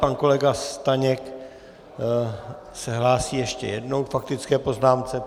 Pan kolega Staněk se hlásí ještě jednou k faktické poznámce.